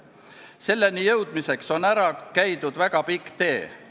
Selleni jõudmiseks on maha käidud väga pikk tee.